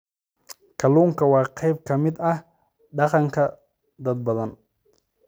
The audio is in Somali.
Kalluunku waa qayb ka mid ah dhaqanka dad badan.